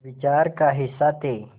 विचार का हिस्सा थे